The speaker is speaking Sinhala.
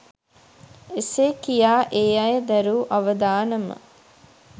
එසේ කියා ඒ අය දැරූ අවදානම